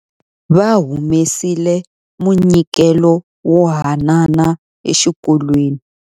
Va humesile munyikelo wo haanana exikolweni.